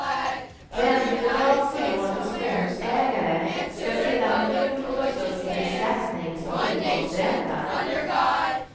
Räntebidrag för lån till småhusägare ska sedan i fjol tas upp till beskattning som inkomstränta.